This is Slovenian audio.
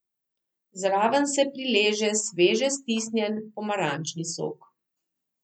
Zraven se prileže sveže stisnjen pomarančni sok.